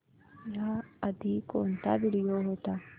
याआधी कोणता व्हिडिओ होता